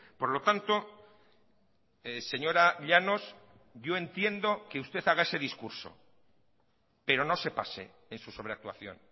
por lo tanto señora llanos yo entiendo que usted haga ese discurso pero no se pase en su sobreactuación